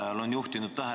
Hea koosoleku juhataja!